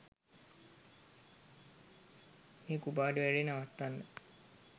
මේ කුපාඩී වැඩේ නවත්වන්න